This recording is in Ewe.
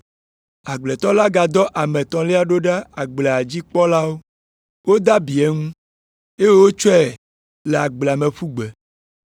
Agbletɔ la gadɔ ame etɔ̃lia ɖo ɖa agblea dzi kpɔlawo. Wode abi eŋu, eye wotsɔe le agblea me ƒu gbe.